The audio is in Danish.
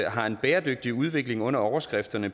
har en bæredygtig udvikling under overskrifterne